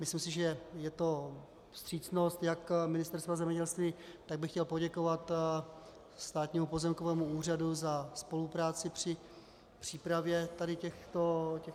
Myslím si, že to je vstřícnost jak Ministerstva zemědělství, tak bych chtěl poděkovat Státnímu pozemkovému úřadu za spolupráci při přípravě tady těchto věcí.